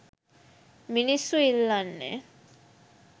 මිනිස්සු ඉල්ලන්නේ